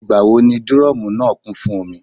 Ìgbà wo ni dírọ́mùù náà kún fún omi?